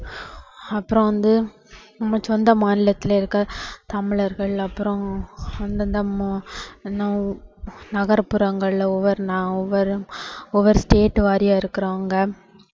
அப்பறம் வந்து நம்ம சொந்த மாநிலத்துல இருக்கிற தமிழர்கள் அப்புறம் அந்தந்த மொ~நொ~நகர்புறங்கள்ல ஒவ்வொரு ஒவ்வொரு ஒவ்வொரு state வாரியா இருக்குறவங்க,